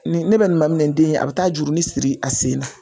Nin ne bɛ nin maminɛ n den yɛ a bi taa jurunin siri a sen na.